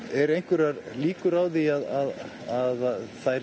eru einhverjar líkur á því að þær